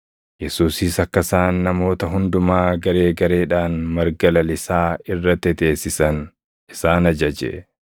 Yesuusis akka isaan namoota hundumaa garee gareedhaan marga lalisaa irra teteessisan isaan ajaje.